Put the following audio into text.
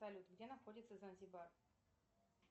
салют где находится занзибар